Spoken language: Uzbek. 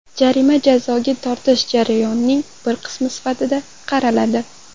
Jarima jazoga tortish jarayonining bir qismi sifatida qaraladi.